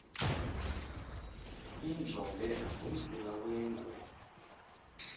injombe ngumsila wengwe